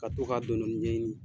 Ka to k'a dɔni dɔni ɲɛɲini.